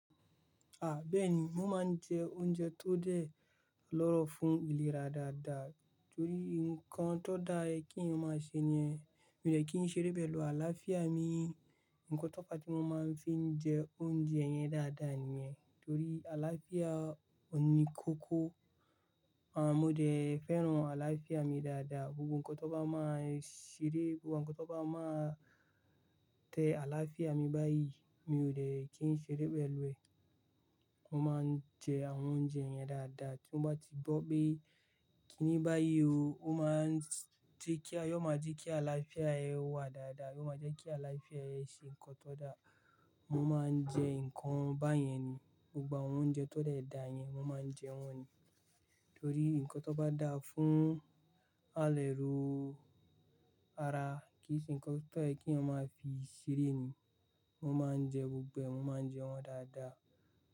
À, bẹ́ẹ̀ni. Mo máa ń jẹ oúnjẹ tó dẹ lọ́rọ̀ fún ìlera dáadáa torí nǹkan tó dá yẹ kí èèyàn máa ṣe nìyẹn, mi ò dẹ̀ kì í ṣeré pẹ̀lú àlàáfíà mi. Nǹkan tó fá tí mo máa ń fi jẹ oúnjẹ yẹn dáadáa nìyẹn torí àlàáfíà ò ní kókó. À, mo dẹ̀ fẹ́ràn àlàáfíà mi dáadáa. Gbogbo ǹkan tó bá máa ṣeré, gbogbo ǹkan tó bá máa tẹ àlàáfíà mi báyìí, mi ò de kí n ṣeré pẹ̀lú ẹ̀. Mo máa ń jẹ àwọn oúnjẹ yẹn dáadáa tí mọ́ bá ti gbọ́ pé kíní báyìí o, ọ́ máa ń jí kíá, yóò máa jẹ́ kí àlàáfíà ẹ wà dáadáa, yóò máa jẹ́ kí àlàáfíà ẹ ṣe ǹkan tó dá. Mọ́ máa ń jẹ ǹkan báyẹn ni. Gbogbo àwọn oúnjẹ tó dẹ dá yẹn, mọ́ máa ń jẹ wọ́n ni. Torí ǹkan tó bá dáa fún àlẹ̀rú ara kí sì ǹnkan tó yẹ́ kí eeyan máa fi ṣeré ni, mọ́ máa ń jẹ gbogbo ẹ̀, mọ́ máa ń jẹ wọ́n dáadáa.